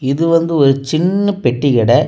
இது வந்து ஒரு சின்ன பெட்டி கடை.